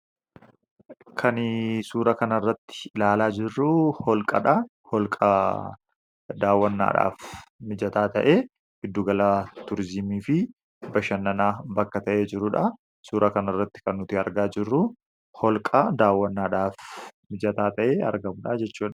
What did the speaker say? kan suura kana irratti ilaalaa jirruu holqaa dha holqa daawwannaadhaaf mijataa ta'ee hiddugalaa turizimii fi bashannanaa bakka ta'ee jiruudha suura kan irratti kan nuti argaa jirru holqa daawwannaadhaaf mijataa ta'ee argamudhaa jechua